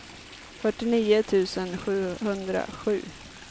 fyrtionio tusen sjuhundrasju